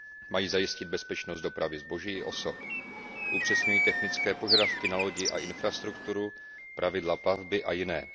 Mají zajistit bezpečnost dopravy zboží i osob, upřesňují technické požadavky na lodi a infrastrukturu, pravidla plavby a jiné.